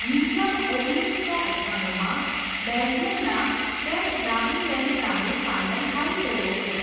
મિચમ ઓગણીસસો અઠ્ઠાણુંમાં બેલ્જિયમના કેટબાવ્રીન્ડેન સામે ફાઇનલ હારી ગયો હતો.